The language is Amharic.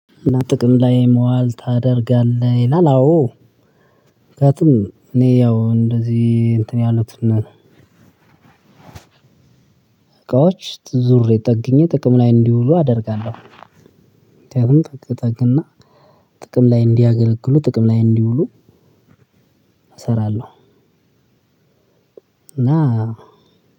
ጥቅም ላይ መዋል ታደርጋለህ ይላል? አዎ ምክንያቱም እኔ ያው እንደዚህ እንትን ያሉት እቃዎች ጠግየ ጥቅም ላይ እንዲውሉ አደርጋለሁ። ጠቅ ጠቅ እና ጥቅም ላይ እንዲያገለግሉ ጥቅም ላይ እንዲውሉ እሰራለሁ። እና